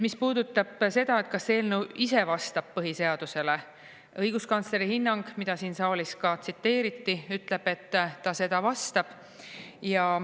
Mis puudutab seda, kas eelnõu ise vastab põhiseadusele, õiguskantsleri hinnang, mida siin saalis ka tsiteeriti, ütleb, et ta seda vastab.